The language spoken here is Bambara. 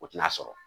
O tina sɔrɔ